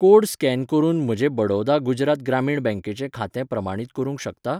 Code scan करून म्हजें बडौदा गुजरात ग्रामीण बँकेचें खातें प्रमाणीत करूंक शकता?